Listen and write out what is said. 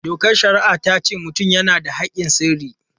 Dokar shari'a ta ce mutum yana da haƙƙin sirri.